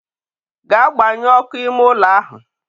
gaa gbanyuo ọkụ ime ụlọ ahụ!